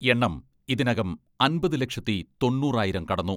എണ്ണം ഇതിനകം അമ്പത് ലക്ഷത്തി തൊണ്ണൂറായിരം കടന്നു.